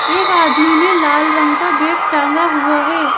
एक आदमी ने लाल रंग का बैग टांगा हुआ है।